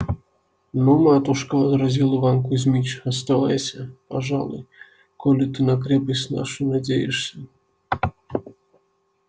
ну матушка возразил иван кузмич оставайся пожалуй коли ты на крепость нашу надеешься